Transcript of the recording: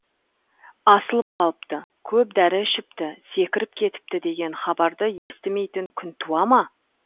асылып қалыпты көп дәрі ішіпті секіріп кетіпті деген хабарды естімейтін күн туа ма